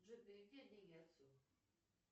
джой переведи деньги отцу